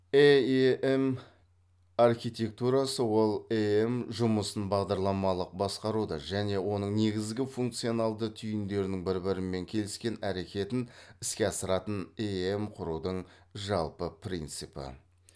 эем архитектурасы ол эем жұмысын бағдарламалық басқаруды және оның негізгі функционалды түйіндерінің бір бірімен келіскен әрекетін іске асыратын эем құрудың жалпы принципі